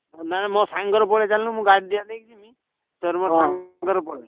ନାଁ ମୋ ସାଙ୍ଗରେ ପଲେଇ ଚାଲୁନୁ ମୁଁ ଗାଡିରେ ନେଇଯିବି ତୋର ମୋର ସାଙ୍ଗରେ ପଳେଇବା।